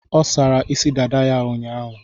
Ọ sara isi dada ya ụnyaahụ.